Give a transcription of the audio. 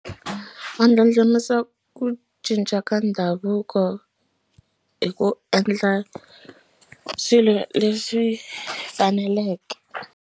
Va ndlandlamuxa ku cinca ka ndhavuko hi ku endla swilo leswi faneleke.